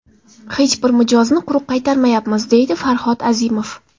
Hech bir mijozni quruq qaytarmayapmiz”, deydi Farhod Azimov.